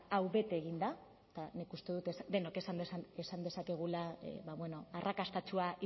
hau bete egin da eta nik uste dut denok esan dezakegula arrakastatsua